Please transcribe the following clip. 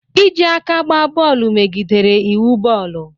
Iji aka gba bọọlụ megidere iwu bọọlụ.